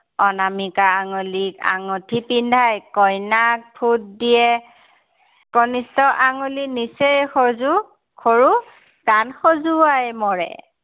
অনামিকা আঙুলিত আঙুঠি পিন্ধাই কইনাক ফোট দিয়ে। কনিষ্ঠ আঙুলি নিচেই সজু, সৰু কান খঁজোৱাই মৰে।